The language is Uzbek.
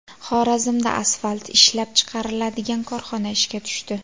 Xorazmda asfalt ishlab chiqariladigan korxona ishga tushdi.